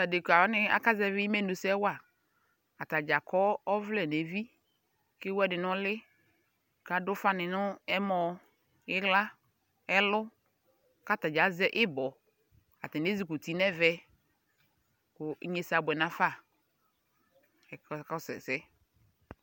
Adekawani aka zɛvi Amenu sɛ wa Atadzaa' kɔ ɔvlɛ n'evi k'ewu ɛdi n'ʋli, k'ad'ʋfani n'ɛmɔ, iɣla, ɛlʋ, k'atani azɛ ibɔ, atani ezuk'uti n'ɛvɛ, kʋ ignesɛ abʋɛ n'afa k'aka kɔsʋ ɛsɛ